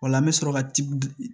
O la an bɛ sɔrɔ ka ti